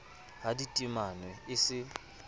ha di timanwe e se